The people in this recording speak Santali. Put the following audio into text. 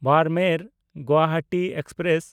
ᱵᱟᱨᱢᱮᱨ–ᱜᱩᱣᱟᱦᱟᱴᱤ ᱮᱠᱥᱯᱨᱮᱥ